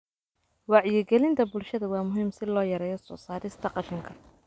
Wacyigelinta bulshada waa muhiim si loo yareeyo soo saarista qashinka.